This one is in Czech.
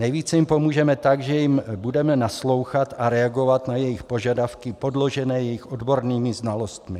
Nejvíce jim pomůžeme tak, že jim budeme naslouchat a reagovat na jejich požadavky podložené jejich odbornými znalostmi.